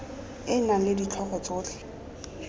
e nang le ditlhogo tsotlhe